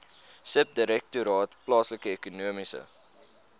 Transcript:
subdirektoraat plaaslike ekonomiese